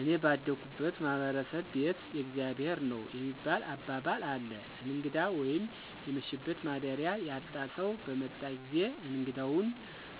እኔ ባደኩበት ማህበረሰብ "ቤት የእግዚአብሔር ነዉ" የሚባል አባባል አለ እንግዳ ወይም የመሸበት ማደሪያ ያጣ ሰዉ በመጣ ጊዜ እንግዳዉን